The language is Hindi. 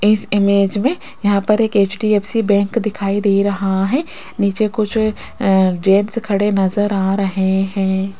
इस इमेज में यहां पर एक एच_डी_एफ_सी बैंक दिखाई दे रहा है नीचे कुछ अ जेंट्स खड़े नजर आ रहे हैं।